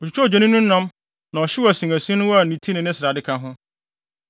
Otwitwaa odwennini no nam na ɔhyew asinasin no a ne ti ne ne srade ka ho.